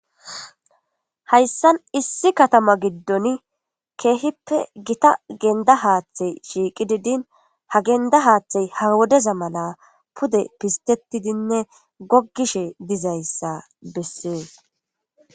Hayssan issi katama giddon keehippe gita gendda haaththey shiiqidi din ha gendda haaththey ha wodeza mala pude pistetidinne gogishe dizayssa bessees.